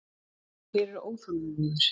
Því þeir eru óþolinmóðir.